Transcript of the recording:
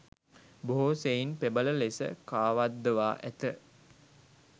බොහෝ සෙයින් ප්‍රබල ලෙස කාවද්දවා ඇත.